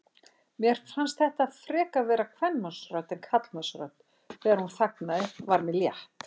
Mér fannst þetta frekar vera kvenmannsrödd en karlmannsrödd, en þegar hún þagnaði var mér létt.